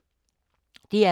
DR K